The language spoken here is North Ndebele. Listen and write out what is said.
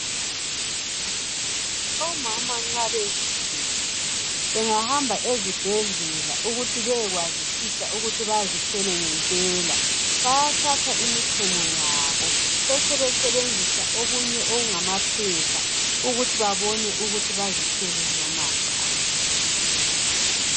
Omama nxa bezithwele bengahamba ezibhedlela ukuthi bayazisise ukuthi bazithwele ngempela bayathatha imichemo yabo besebesebenzisa okunye okungamaphepha ukuthi babone ukuthi bazithwele noma hatshi.